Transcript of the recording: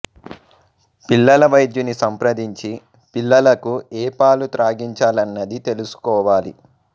పిల్లల వైద్యుని సంప్రదించి పిల్లలకు ఏ పాలు త్రాగించాలన్నదీ తెలుసుకోవాలి